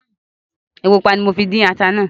Epo pupa ní mọ fí dín ata náà